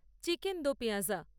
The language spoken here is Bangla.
chicken do pyaza